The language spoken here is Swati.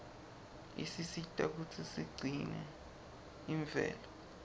isisita kutsi sigcine imvelo